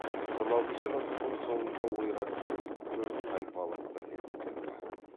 он алтыншы ғасырдың соңында ойраттар төрт тайпалық бірлестіктен тұрды